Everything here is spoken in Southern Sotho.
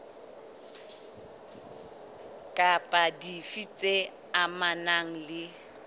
kapa dife tse amanang le